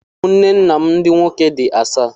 Ụmụnne nna m ndị nwoke dị asaa